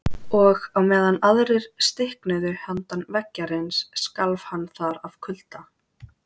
Og á meðan aðrir stiknuðu handan veggjarins skalf hann þar af kulda.